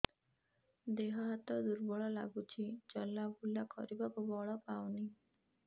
ଦେହ ହାତ ଦୁର୍ବଳ ଲାଗୁଛି ଚଲାବୁଲା କରିବାକୁ ବଳ ପାଉନି